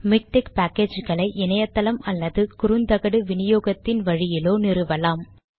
MiKTeX package களை இணையத்தளம் அல்லது குறுந்தகடு விநியோகத்தின் வழியிலோ நிறுவலாம்